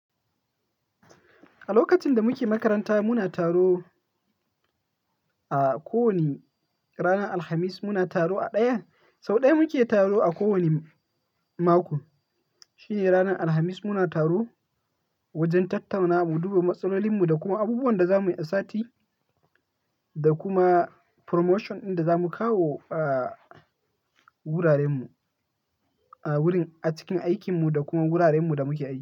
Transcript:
A lokacin da muke makaranta, muna taro a ko wani ranar Alhamis. Muna taro a ɗaya, sau ɗaya muke taro a kowani mako, shine ranar Alhamis muna taro wajen tattaunawa, mu duba matsalolin mu da kuma abubuwan da za mu yi asati da kuma promotion dinda za mu kawo a wuraren mu a cikin aikin mu da kuma wuraren mu da muke aiki.